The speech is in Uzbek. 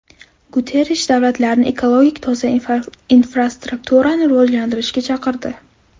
Guterrish davlatlarni ekologik toza infrastrukturani rivojlantirishga chaqirdi.